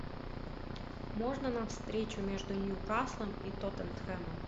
можно нам встречу между ньюкаслом и тоттенхэмом